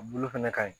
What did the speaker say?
A bulu fɛnɛ ka ɲi